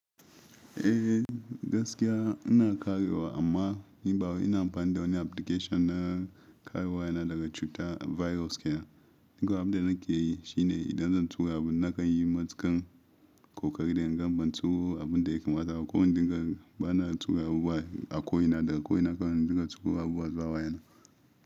Eh gaskiya ina karewa amma ni bawai ina amfani da wani application na karewa na daga cutar virus kenan. Ni kawai abin da nake yi shine idan zan tura abun naka yi matukan kokari in gan ban tura abun da yake matsa ka. Ko in dinga bana tura abubuwa a ko ina daga ko ina ka na in dinga tura abubuwa zuwa wayana.